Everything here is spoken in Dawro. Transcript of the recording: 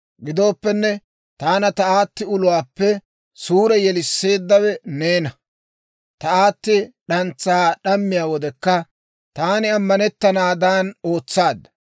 Gidooppenne, taana ta aatti uluwaappe suure yeliseeddawe neena; ta aatti d'antsaa d'ammiyaa wodekka taani ammanettanaadan ootsaadda.